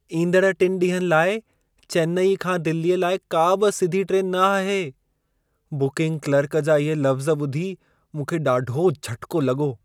ईंदड़ टिनि ॾींहनि लाइ चेन्नई खां दिल्लीअ लाइ का बि सिधी ट्रेनु न आहे! बुकिंग क्लर्क जा इहे लफ़्ज़ ॿुधी मूंखे ॾाढो झटिको लॻो।